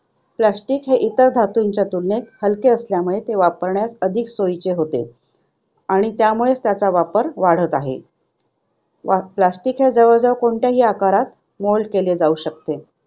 Plastic इतर धातूंच्या तुलनेत हलके असल्याने ते वापरण्यास अधिक सोयीचे होते आणि त्यामुळे त्याचा वापर वाढत आहे. Plastic जवळजवळ कोणत्याही आकारात mold केले जाऊ शकते.